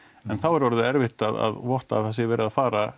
en þá er orðið erfitt að votta að það sé verið að fara